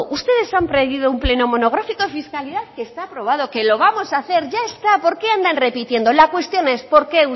ustedes han traído un pleno monográfico de fiscalidad que está aprobado que lo vamos a hacer ya está por qué andan repitiendo la cuestión es por qué